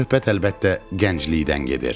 Söhbət əlbəttə gənclikdən gedir.